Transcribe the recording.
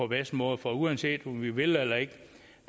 bedste måde for uanset om vi vil eller ikke